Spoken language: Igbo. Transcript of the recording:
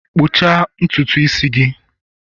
kpụchaa ntutu isi gị!